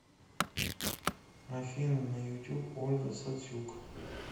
афина на ютуб ольга сацюк